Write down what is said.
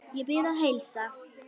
Ég bið að heilsa